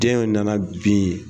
Den nana bin